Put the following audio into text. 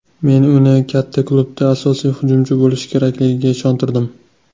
Men uni katta klubda asosiy hujumchi bo‘lishi kerakligiga ishontirdim.